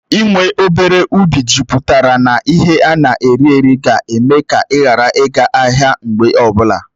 Ị́ nwe obere ubi jupụtara na ihe ana eri eri ga-eme ka Ị́ ghara ị ga ahịa mgbe ọbụla